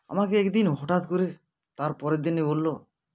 আমাকে একদিন হঠাৎ করে তারপরের দিনই বললো